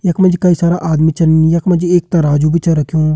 यख मा जी कई सारा आदमी छन यख मा जी एक तराजू भी छ रख्युं।